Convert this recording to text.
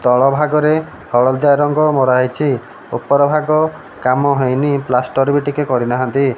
ତଳ ଭାଗରେ ହଳଦିଆ ରଙ୍ଗ ମରାହେଇଛି ଉପର ଭାଗ କାମ ହେଇନି ପ୍ଳାଷ୍ଟର ଵି ଟିକେ କରିନାହାନ୍ତି।